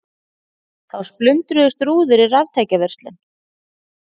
Þá splundruðust rúður í raftækjaverslun